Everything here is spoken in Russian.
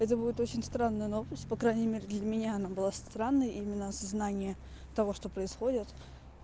это будет очень странно но по крайней мере для меня она была странной именно осознание того что происходит